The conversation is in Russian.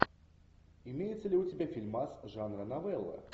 имеется ли у тебя фильмас жанра новелла